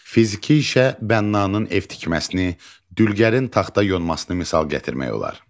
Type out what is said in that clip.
Fiziki işə bənnanın ev tikməsini, dülgərin taxta yonmasını misal gətirmək olar.